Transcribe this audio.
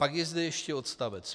Pak je zde ještě odst.